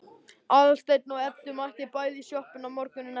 Aðalsteinn og Edda mættu bæði í sjoppuna morguninn eftir.